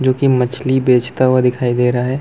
जो की मछली बेचता हुआ दिखाई दे रहा हैं ।